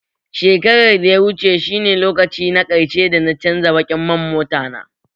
Shakarar da ya wuce ne lokaci na ƙarshe dana canza baƙin man motana